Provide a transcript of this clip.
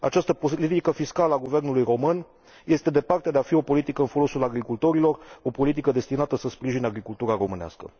Această politică fiscală a guvernului român este departe de a fi o politică în folosul agricultorilor, o politică destinată să sprijine agricultura românească.